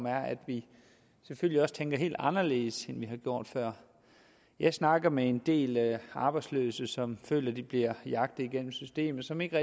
er at vi selvfølgelig også tænker helt anderledes end vi har gjort før jeg snakker med en del arbejdsløse som føler at de bliver jagtet igennem systemet som ikke